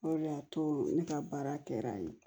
O de y'a to ne ka baara kɛra yen